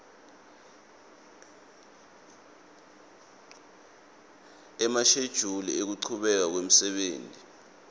emashejuli ekuchubeka kwemsebenti